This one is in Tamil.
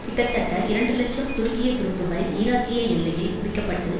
கிட்டத்தட்ட இரண்டு இலட்சம் துருக்கிய துருப்புக்கள் ஈராக்கிய எல்லையில் குவிக்கப்பட்டு